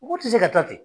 Mɔgɔw tɛ se ka taa ten